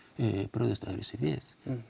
brugðist öðruvísi við